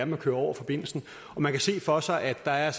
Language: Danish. man kører over forbindelsen man kan se for sig at der er